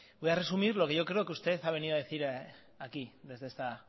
voy a resumir lo que yo creo que usted ha venido a decir aquí desde esta